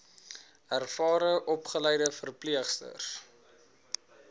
ervare opgeleide verpleegsters